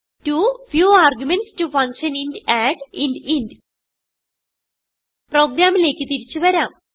to few arguments to function int add int int പ്രോഗ്രാമിലേക്ക് തിരിച്ചു വരാം